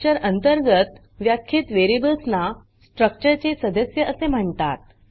structure अंतर्गत व्याख्यीत variables ना स्ट्रक्चरचे सदस्य असे म्हणतात